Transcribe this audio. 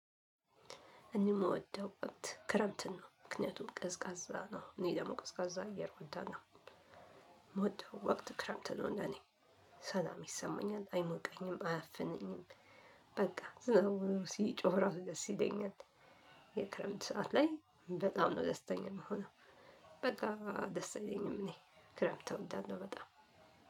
እኔ የምወደው ወቅት ክረምት ነው ምክንያቱም ቀዝቃዛ ነው እኔ ደግሞ ቀዝቃዛ አየር እወዳለሁ። ምወድ ወቅት ክረምት ነው ለኔ ሰላም ይሰማኛል አይሞቀኝም አያፍነኝም። በቃ ዝም ብሎ ሲጮህ ራሱ ደስ ይለኛል። የክረምት ሰዓት ላይ በጣም ነው ደስተኛ የምሆነው። በቃ ደስ ይለኛል እኔ ክረምት እወዳለሁ በጣም።